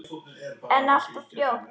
En allt of fljótt.